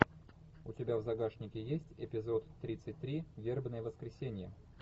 у тебя в загашнике есть эпизод тридцать три вербное воскресенье